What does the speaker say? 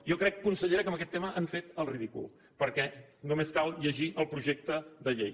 jo crec consellera que en aquest tema hem fet el ridícul perquè només cal llegir el projecte de llei